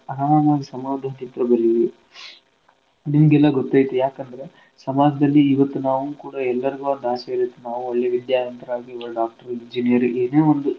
ಅರಾಮಗ್ ಸಮಾಧಾನದಿಂತ್ರ ಬರೀರಿ ನಿಮ್ಗ ಎಲ್ಲಾ ಗೊತೈತಿ ಯಾಕಂದ್ರ ಸಮಾಜ್ದಲ್ಲಿ ಇವತ್ನಾವೂ ಕೂಡ ಎಲ್ಲರಿಗೂ ಒಂದ್ ಆಸೆ ಇರುತ್ತ ನಾವೂ ಒಳ್ಳೇ ವಿದ್ಯಾವಂತ್ರಾಗೀ ಒಬ್ಬ doctor, engineer ಏನೇ ಒಂದ್.